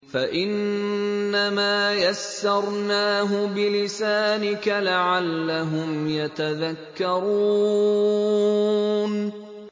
فَإِنَّمَا يَسَّرْنَاهُ بِلِسَانِكَ لَعَلَّهُمْ يَتَذَكَّرُونَ